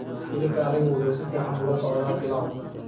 Hilibka arigu wuxuu si fiican ula socdaa pilau.